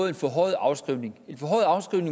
en forhøjet afskrivning